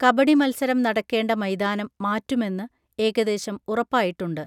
കബഡി മൽസരം നടക്കേണ്ട മൈദാനം മാറ്റുമെന്ന് ഏകദേശം ഉറപ്പായിട്ടുണ്ട്